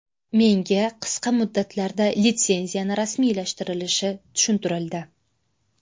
Menga qisqa muddatlarda litsenziyani rasmiylashtirilishi tushuntirildi.